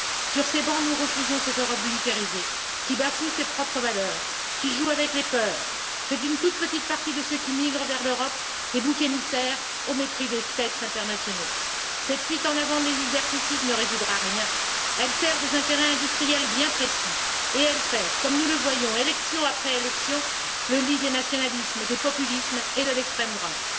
Sur ces bancs, nous refusons cette Europe bunkerisée, qui bafoue ses propres valeurs, qui joue avec les peurs, et fait d'une toute petite partie de ceux qui migrent vers l'Europe des boucs émissaires, au mépris des textes internationaux. Cette fuite en avant liberticide ne résoudra rien. Elle sert des intérêts industriels bien précis et elle fait, comme nous le voyons, élection après élection, le lit des nationalismes, des populismes et de l'extrême droite.